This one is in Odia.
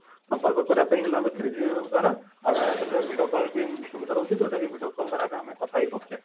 ସମ୍ପର୍କ କରିବା ପାଇଁ ହେଲେ ଆମେ three G ଦ୍ଵାରା ଆଉ ସେଥିରେ video call ବି ସୁବିଧା ରହୁଛି ଯୋଉଟା କି video call ଦ୍ଵାରା ବି ଆମେ କଥା ହେଇ ପାରୁଛେ